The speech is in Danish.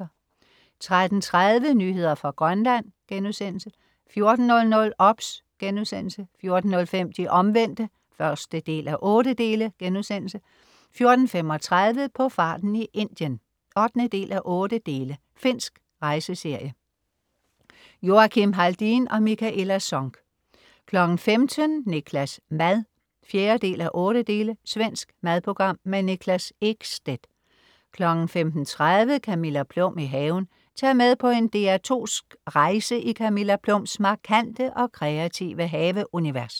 13.30 Nyheder fra Grønland* 14.00 OBS* 14.05 De Omvendte 1:8* 14.35 På farten i Indien 8:8. Finsk rejseserie. Joakim Haldin og Mikaela Sonck 15.00 Niklas' mad 4:8. Svensk madprogram. Niklas Ekstedt 15.30 Camilla Plum i haven. Tag med på en DR2sk rejse i Camilla Plums markante og kreative haveunivers